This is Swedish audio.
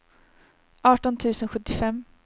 arton tusen sjuttiofem